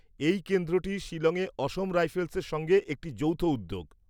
এই কেন্দ্রটি শিলংয়ে অসম রাইফেলসের সঙ্গে একটি যৌথ উদ্যোগ।